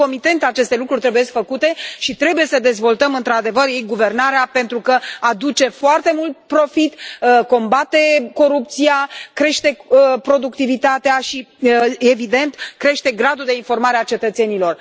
Concomitent aceste lucruri trebuie făcute și trebuie să dezvoltăm într adevăr e guvernarea pentru că aduce foarte mult profit, combate corupția, crește productivitatea și, evident, crește gradul de informare a cetățenilor.